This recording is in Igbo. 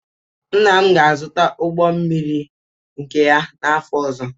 Nna m ga-azụta ụgbọ mmiri nke ya n'afọ ọzọ.